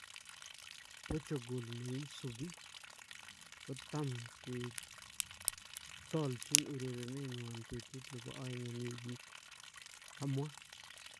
Portugal ,neisubii , kotamkee toolchin urerenenywan betut nebo aeng en wikiit ", kamwaa.